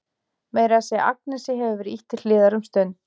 Meira að segja Agnesi hefur verið ýtt til hliðar um stund.